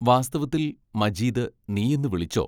വാസ്തവത്തിൽ മജീദ് നീ എന്നു വിളിച്ചോ.